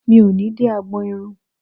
Mi ò ní dé agbọn irun.